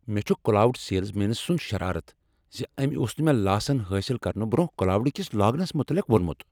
مےٚ چھ cloud salesman سنٛد شرارتھ ز أمۍ اوس نہٕ مےٚ لاسن حٲصل کرنہٕ برٛونہہ کلاوڈ کس لاگنس متعلق ووٚنمت۔